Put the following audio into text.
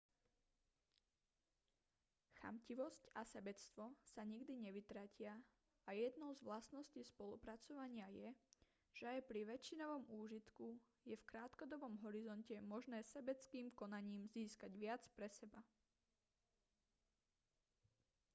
chamtivosť a sebectvo sa nikdy nevytratia a jednou s vlastností spolupracovania je že aj pri väčšinovom úžitku je v krátkodobom horizonte možné sebeckým konaním získať viac pre seba